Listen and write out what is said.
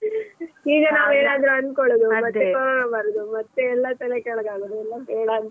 ಈಗ ನಾವೇನ್ ಅನ್ಕೋಳುದು ಮತ್ತೆ ಕೋರೋನಾ ಬರುದು ಮತ್ತೇ ಎಲ್ಲಾ ತಲೆಕೆಳಗಾಗುದು ಎಲ್ಲ ಬೇಡ ಅಂತ .